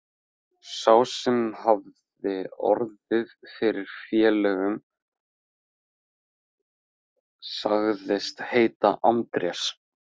Sá sem hafði orð fyrir félögunum sagðist heita Andrés.